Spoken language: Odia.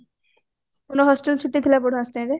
କଣ hostel ଛୁଟି ଥିଲା ପରୁହା ଅଷ୍ଟମିରେ